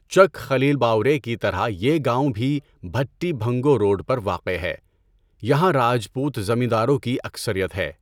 چک خلیلباورے کى طرح يہ گاؤں بھى بھٹى بھنگو روڈ پر واقع ہے۔ یہاں راجپوت زمینداروں کی اکثریت ہے۔